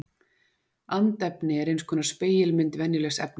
andefni er eins konar spegilmynd venjulegs efnis